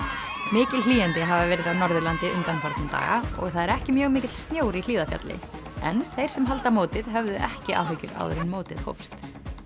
mikil hlýindi hafa verið á Norðurlandi undanfarna daga og það er ekki mjög mikill snjór í Hlíðarfjalli en þeir sem halda mótið höfðu ekki áhyggjur áður en mótið hófst